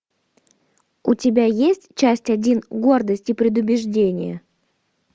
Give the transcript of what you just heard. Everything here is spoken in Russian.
у тебя есть часть один гордость и предубеждение